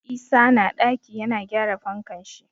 Isa na ɗaki yana gyara fankan shi.